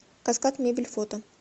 каскад мебель фото